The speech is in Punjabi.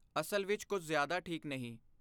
ਅਸਲ ਵਿੱਚ ਕੁਝ ਜ਼ਿਆਦਾ ਠੀਕ ਨਹੀਂ।